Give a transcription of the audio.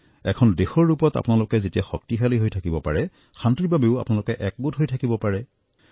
এখন দেশৰ ৰূপত যেতিয়া আপোনালোকে শক্তিশালী হৈ থাকিব পাৰে শান্তিৰ বাবেও আপোনালোকে একগোট হৈ থাকিব পাৰে